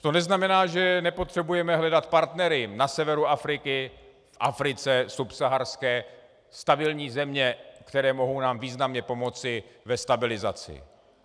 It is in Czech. To neznamená, že nepotřebujeme hledat partnery na severu Afriky, v Africe subsaharské, stabilní země, které nám mohou významně pomoci ve stabilizaci.